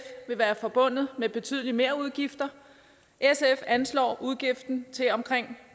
vil være forbundet med betydelige merudgifter sf anslår udgiften til omkring